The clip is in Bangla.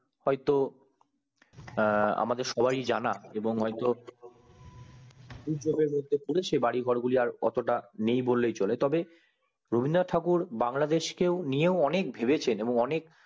হয় তো আমাদের সবার ই জানা হয় তো বাড়ি ঘর গুলি আর নেই বললেই চলে রবীন্দ্রনাথ ঠাকুর বাংলাদেশকে নিয়ে অনেক ভেবে ছেন এবং অনেক